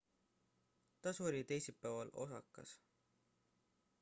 ta suri teisipäeval osakas